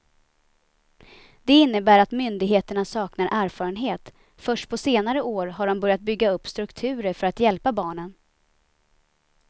Det innebär att myndigheterna saknar erfarenhet, först på senare år har de börjat bygga upp strukturer för att hjälpa barnen.